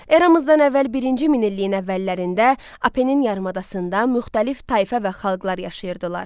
Eramızdan əvvəl birinci min illiyin əvvəllərində Apennin yarımadasında müxtəlif tayfa və xalqlar yaşayırdılar.